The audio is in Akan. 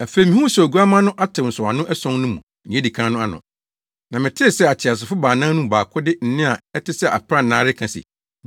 Afei mihuu sɛ Oguamma no atew nsɔwano ason no mu nea edi kan no ano, na metee sɛ ateasefo baanan no mu baako de nne a ɛte sɛ aprannaa reka se, “Bra!”